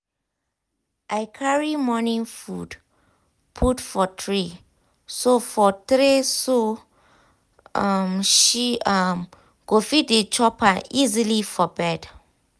i carry morning food put for tray so for tray so um she um go fit dey chop am easily for bed.